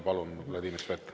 Palun, Vladimir Svet!